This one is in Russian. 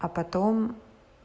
а потом